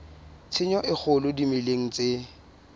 tshenyo e kgolo dimeleng tse